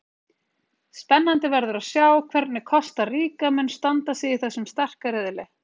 Spennandi verður að sjá hvernig Kosta Ríka mun standa sig í þessum sterka riðli.